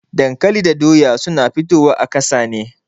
Dankali da Doya suna fito wa a ƙasa ne.